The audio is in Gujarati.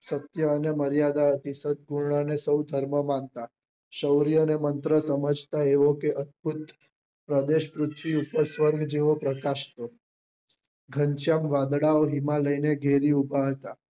સત્ય અને મર્યાદા હતી સત્પૂર્ણ ને સૌ ધર્મ માનતા સોર્ય ને મંત્રો સમજતા એવો કે અદ્ભુત પ્રદેશ સ્વર્ગ જેવો પ્રકાશતો ઘનશ્યામ વાદળાઓ હિમાલય ને ઘેરી ઉભા હતા